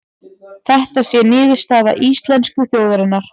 Þetta sé niðurstaða íslensku þjóðarinnar